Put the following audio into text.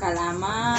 Kalan ma